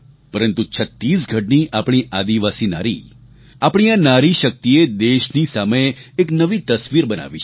પરંતુ છત્તીસગઢની આપણી આદિવાસી નારી આપણી આ નારી શક્તિએ દેશની સામે એક નવી તસવીર બનાવી છે